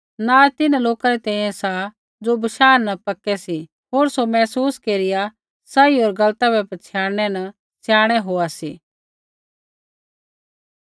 नाज़ तिन्हां लोका री तैंईंयैं सा ज़ो बशाह न पक्के सी होर ज़ो महसूस केरिया सही होर गलता बै पछ़ियाणनै न सयाणै होआ सी